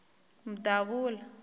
mdavula